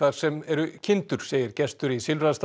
sem eru kindur segir gestur í